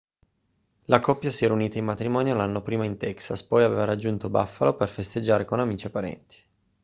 la coppia si era unita in matrimonio l'anno prima in texas poi aveva raggiunto buffalo per festeggiare con amici e parenti